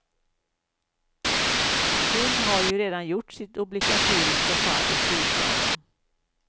Hon har ju redan gjort sitt obligatoriska fall i storslalom.